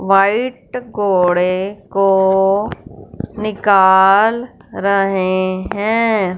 White घोड़े को निकाल रहे हैं।